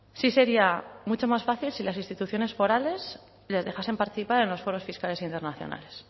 si sería mucho más fácil si las instituciones forales les dejasen participar en los foros fiscales internacionales